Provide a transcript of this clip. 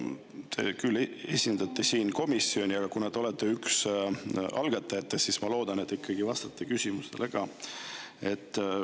Te küll esindate siin komisjoni, aga kuna te olete üks algatajatest, siis ma loodan, et te ikkagi vastate küsimusele ka.